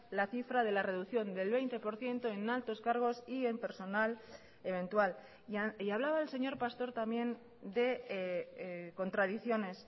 la cifra de la reducción del veinte por ciento en altos cargos y en personal eventual y hablaba el señor pastor también de contradicciones